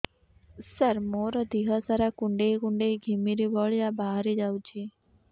ସାର ମୋର ଦିହ ସାରା କୁଣ୍ଡେଇ କୁଣ୍ଡେଇ ଘିମିରି ଭଳିଆ ବାହାରି ଯାଉଛି